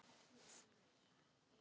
Úr bognum lófa rann.